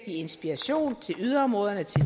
inspiration til yderområderne til